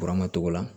Buranma togo la